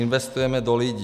Investujeme do lidí.